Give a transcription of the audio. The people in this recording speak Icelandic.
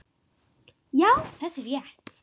Já, þetta er rétt.